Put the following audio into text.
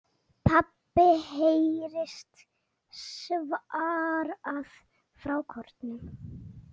PABBI heyrist svarað frá kórnum.